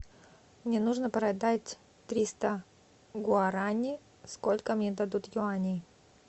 мне нужно продать триста гуарани сколько мне дадут юаней